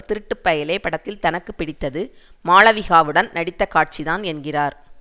திருட்டு பயலே படத்தில் தனக்கு பிடித்தது மாளவிகாவுடன் நடித்த காட்சிதான் என்கிறார்